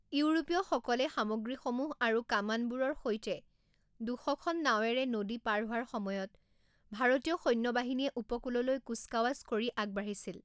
ইউৰোপীয়সকলে সামগ্ৰীসমূহ আৰু কামানবোৰৰ সৈতে দুশ খন নাৱেৰে নদী পাৰ হোৱাৰ সময়ত ভাৰতীয় সৈন্যবাহিনীয়ে উপকূললৈ কুচকাৱাজ কৰি আগবাঢ়িছিল।